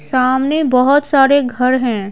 सामने बहुत सारे घर हैं।